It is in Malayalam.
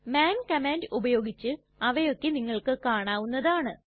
മാൻ കമാൻഡ് ഉപയോഗിച്ച് അവയൊക്കെ നിങ്ങൾക്ക് കാണാവുന്നതാണ്